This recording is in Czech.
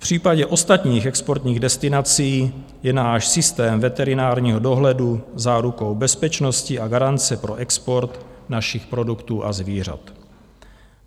V případě ostatních exportních destinací je náš systém veterinárního dohledu zárukou bezpečnosti a garance pro export našich produktů a zvířat.